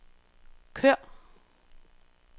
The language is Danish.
kør